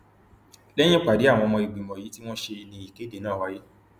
lẹyìn ìpàdé àwọn ọmọ ìgbìmọ yìí tí wọn ṣe ní ìkéde náà wáyé